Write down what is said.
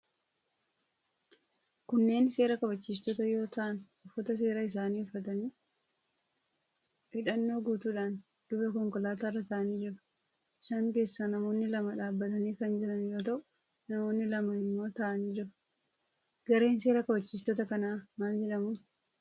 Kunneen seera kabachiistota yoo ta'an, uffata seeraa isaanii uffatanii, hidhannoo guutuudhaan duuba konkolaataa irra taa'anii jiru. Isaan keessaa namoonni lama dhaabbatanii kan jiran yoo ta'u, namoonni lama immoo taa'anii jiru. Gareen seera kabachiistota kanaa maal jedhamu?